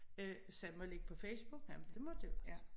Øh sagde jeg må jeg lægge på Facebook? Jamen det måtte jeg godt